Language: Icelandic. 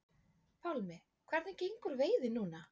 Pálmi: Hvernig gengur veiðin núna?